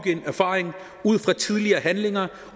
en erfaring ud fra tidligere handlinger